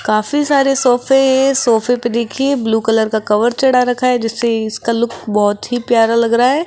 काफी सारे सोफे सोफे पर देखिए ब्लू कलर का कवर चढ़ा रखा है जिससे इसका लुक बहुत ही प्यारा लग रहा है।